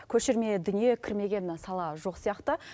көшірме дүние кірмеген сала жоқ сияқты